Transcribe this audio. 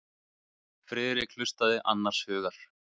Friðrik hlustaði annars hugar.